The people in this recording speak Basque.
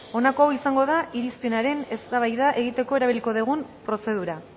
honako hau izango da irizpenaren eztabaida egiteko erabiliko dugun prozedura